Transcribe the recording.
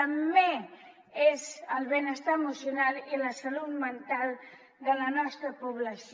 també és el benestar emocional i la salut mental de la nostra població